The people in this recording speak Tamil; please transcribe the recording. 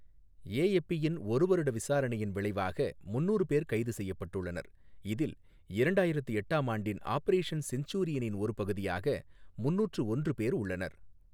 ஏஎப்பி யின் ஒரு வருட விசாரணையின் விளைவாக முந்நூறு பேர் கைது செய்யப்பட்டுள்ளனர், இதில் இரண்டாயிரத்து எட்டாம் ஆண்டின் ஆபரேஷன் செஞ்சுரியனின் ஒரு பகுதியாக முந்நூறு ஒன்று பேர் உள்ளனர்.